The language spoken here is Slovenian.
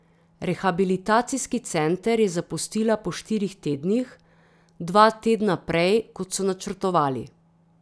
Rehabilitacijski center je zapustila po štirih tednih, dva tedna prej, kot so načrtovali.